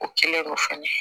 O kɛlen kɔ fɛnɛ